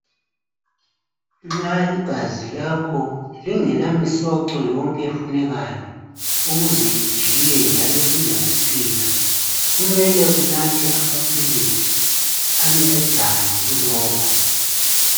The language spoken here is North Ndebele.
Nxa igazi lakho lingelamisoco yonke efunekayo ukuze lijiye njalo lilokuphila kumele unathe amaphilisi ancedayo kulokhu.